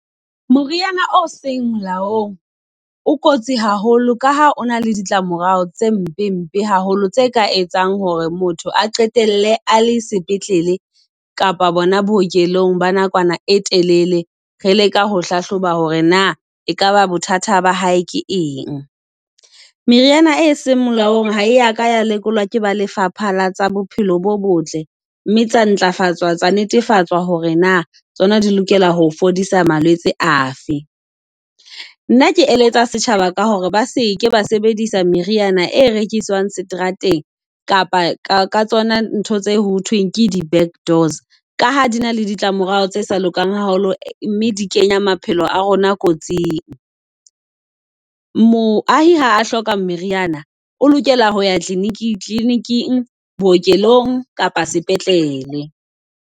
Moriana o seng molaong o kotsi haholo ka ha o na le ditlamorao tse mpe mpe haholo. Tse ka etsang hore motho a qetelle a le sepetlele, kapa bona bookelong ba nakwana e telele. Re leka ho hlahloba hore na ekaba bothata ba hae ke eng. Meriana e seng molaong ha ya ka ya lekolwa ke ba lefapha latsa bophelo bo botle. Mme tsa ntlafatswa tsa netefatsa hore na tsona di lokela ho fodisa malwetsi afe. Nna ke eletsa setjhaba ka hore ba seke ba sebedisa meriana e rekiswang seterateng kapa ka tsona ntho tse ho thweng ke di back doors. Ka ha di na le ditlamorao tse sa lokang haholo, mme di kenya maphelo a rona kotsing. Moahi ha hloka meriana, o lokela hoya Kliniking, bookelong kapa sepetlele.